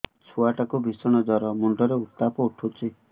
ଛୁଆ ଟା କୁ ଭିଷଣ ଜର ମୁଣ୍ଡ ରେ ଉତ୍ତାପ ଉଠୁଛି